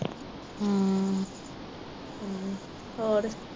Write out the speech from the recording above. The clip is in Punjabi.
ਹੋਰ